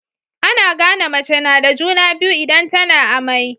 Ana gane mace nada juna biyu idan tAna amai